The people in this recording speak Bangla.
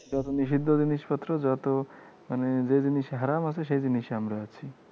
যত নিষিদ্ধ জিনিসপত্র যত মানে যে জিনিসে হারাম আছে, সেই জিনিসে আমরা আছি।